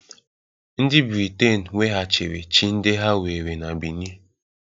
Ndị Briten weghachiri chi ndị ha were na Benin